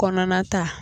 Kɔnɔna ta